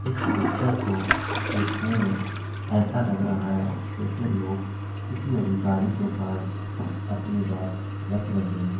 इस पिक्चर को देखने में ऐसा लग रहा है जैसे लोग किसी अधिकारी के पास अपनी बात रख रहे हैं।